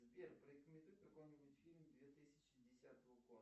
сбер порекомендуй какой нибудь фильм две тысячи десятого года